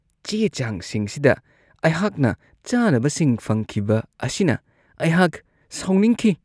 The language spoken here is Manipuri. ꯆꯦ-ꯆꯥꯡꯁꯤꯡꯁꯤꯗ ꯑꯩꯍꯥꯛꯅ ꯆꯥꯅꯕꯁꯤꯡ ꯐꯪꯈꯤꯕ ꯑꯁꯤꯅ ꯑꯩꯍꯥꯛ ꯁꯥꯎꯅꯤꯡꯈꯤ ꯫